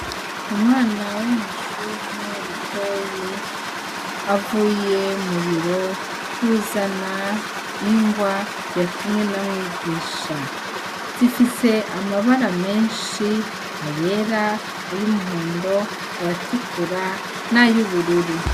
Umwana wo mw'ishure litoyi avuye mubiro kwuzana ingwa yatumwe na mwigisha zifise amabara menshi ayera ayo umuhondo ayatukura n'ayo ubururu.